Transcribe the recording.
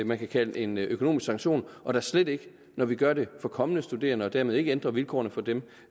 man kan kalde en økonomisk sanktion og da slet ikke når vi gør det for kommende studerende og dermed ikke ændrer vilkårene for dem